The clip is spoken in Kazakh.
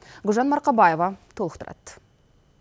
гүлжан марқабаева толықтырады